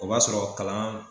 O b'a sɔrɔ kalan